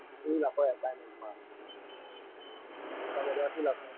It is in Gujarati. શુ લાખો assignment માં